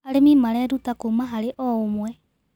Arĩmĩ marerũta kũma harĩ o ũmwe